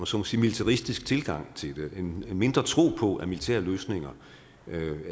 så må sige militaristisk tilgang til det en mindre tro på at militære løsninger